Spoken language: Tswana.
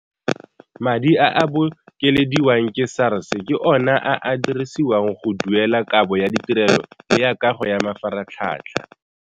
Madi a a bokelediwang ke SARS ke ona a a dirisiwang go duelela kabo ya ditirelo le ya kago ya mafaratlhatlha.